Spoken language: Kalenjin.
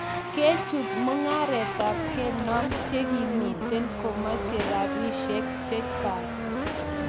kechut mungareet ap karnog chegimen komache rapisiek chechang